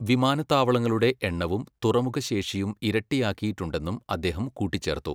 വിമാനത്താവളങ്ങളുടെ എണ്ണവും തുറമുഖശേഷിയും ഇരട്ടിയാക്കിയിട്ടുണ്ടെന്നും അദ്ദേഹം കൂട്ടിച്ചേർത്തു.